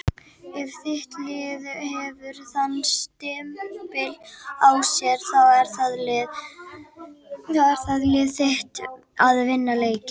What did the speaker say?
Ef þitt lið hefur þann stimpil á sér þá er liðið þitt að vinna leiki.